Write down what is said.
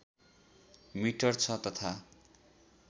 metre छ तथा